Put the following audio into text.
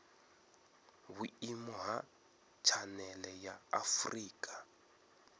vhuimo ha tshanele ya afurika